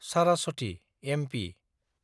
Saraswathi (MP)